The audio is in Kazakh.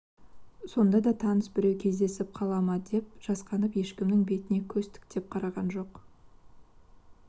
сонда да таныс біреу кездесіп қала ма деп жасқанып ешкімнің бетіне көз тіктеп қараған жоқ